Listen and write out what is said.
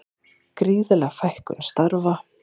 Gríðarleg fækkun starfa